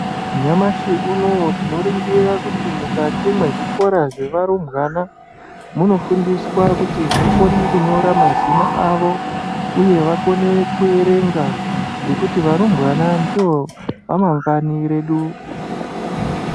Nyamashi unowu tinoringira kuti mukati mwezvikora zvevarumbwana, munofundiswa kuti vakone kunyora mazina avo nekuti vakone kuerenga, ngekuti varumbwana ndivo ramangwani redu.